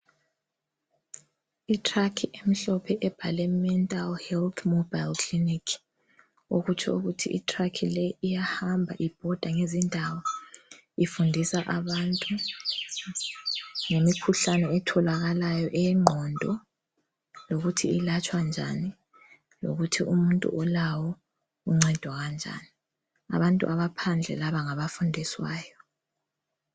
Itruck emhlophe ebhalwe mental health mobile clinic okutsho ukuthi itruck leyi iyahamba ibhoda ngezindawo ifundisa abantu ngemikhuhlane etholakalayo eyengqondo lokuthi ilatshwanjani lokuthi umuntu olawo uncedwa kanjani abantu abaphandle laba ngabafundiswayo.